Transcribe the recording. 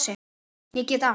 Ég get allt!